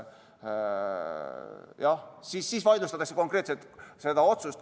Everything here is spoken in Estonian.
Jah, siis vaidlustatakse konkreetselt see otsus.